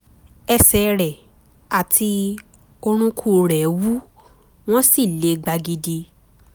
ẹsẹ̀ rẹ̀ àti orúnkún rẹ̀ wú wọ́n sì le gbagidi